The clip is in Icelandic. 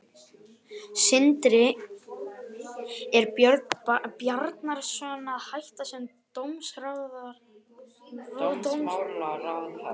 Sindri: Er Björn Bjarnason að hætta sem dómsmálaráðherra?